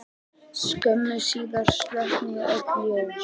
Skömmu síðar slokknuðu öll ljós.